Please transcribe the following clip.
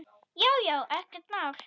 Já já, ekkert mál.